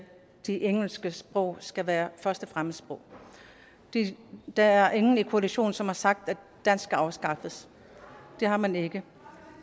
det engelske sprog skal være første fremmedsprog der er ingen i koalitionen som har sagt at dansk skal afskaffes det har man ikke